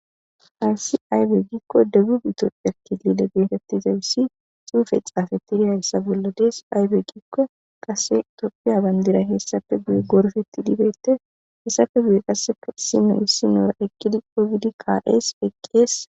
Hayssi aybbe giikko debubi Ethiopian kilile gegetettizayss xuufe xaafetidi hayssa bolla deesi aybe giikko kase Ethiopia bandiray hayssappe gorppettidi,beetees.hessape guye kasei Issino issino ekkidi ekkidi ka'ees.